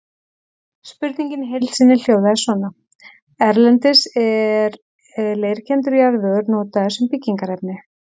Spurningin í heild sinni hljóðaði svona: Erlendis er leirkenndur jarðvegur notaður sem byggingarefni.